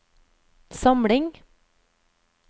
samling